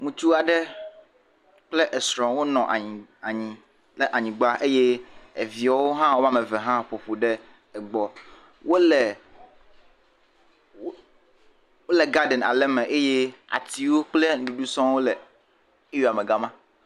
Ŋutsu aɖe kple esrɔ̃ wonɔ anyi..anyi le anyigba eye eviawo hã woame eve hã ƒoƒu ɖe egbɔ wole..wo..wole garden aɖe me eye nuɖuɖu sɔŋwo le area me le gama.